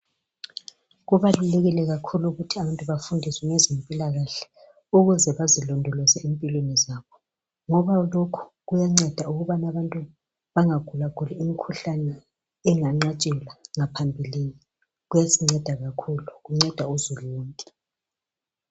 Kubalulekile kakhulu ukuthi abantu bafundiswe ngezempilakahle ukuze bazilondoloze empilweni zabo ngoba lokho kuyanceda abantu bangagulaguli imkhuhlani enganqatshelwa ngaphambilini kuyasinceda kakhulu kunceda uzulu wonke.